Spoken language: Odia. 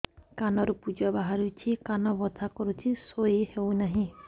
କାନ ରୁ ପୂଜ ବାହାରୁଛି କାନ ବଥା କରୁଛି ଶୋଇ ହେଉନାହିଁ